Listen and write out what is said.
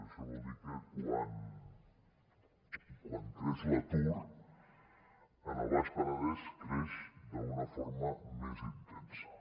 això vol dir que quan creix l’atur al baix penedès creix d’una forma més intensa